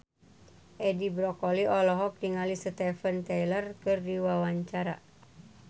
Edi Brokoli olohok ningali Steven Tyler keur diwawancara